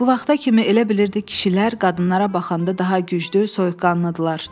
Bu vaxta kimi elə bilirdi kişilər qadınlara baxanda daha güclü, soyuqqanlıdılar.